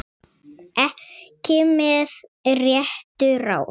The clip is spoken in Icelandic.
Ekki með réttu ráði?